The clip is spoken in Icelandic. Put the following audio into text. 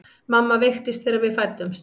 Mamma veiktist þegar við fæddumst.